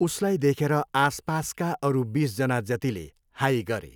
उसलाई देखेर आसपासका अरू बिस जना जतिले हाइऽ गरे।